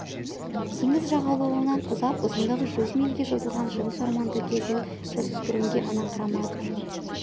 теңіз жағалауынан ұзап ұзындығы жүз мильге созылған жыныс орманды кезу жасөспірімге ұнаңқырамады